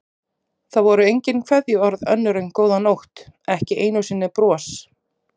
Það voru engin kveðjuorð önnur en góða nótt, ekki einu sinni bros.